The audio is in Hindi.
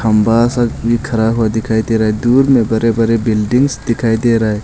खंभा सब भी खड़ा हुआ दिखाई दे रहा है दूर मे बड़े बड़े बिल्डिंग्स दिखाई दे रहा है।